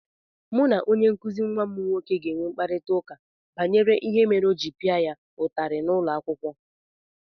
Mụ na onye nkụzi nwa m nwoke ga-enwe mkparịta ụka banyere ihe mere o ji pịa ya ụtarị n’ụlọ akwụkwọ.